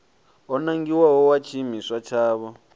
o nangiwaho wa tshiimiswa tshavho